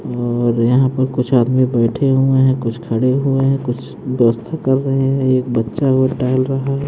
और यहां पर कुछ आदमी बैठे हुए हैं कुछ खड़े हुए हैं कुछ व्यवस्था कर रहे हैं एक बच्चावो टहल रहा है।